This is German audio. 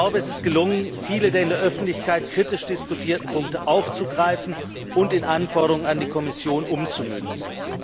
Es ist gelungen, viele der in der Öffentlichkeit kritisch diskutierten Punkte aufzugreifen und in Anforderungen an die Kommission umzumünzen.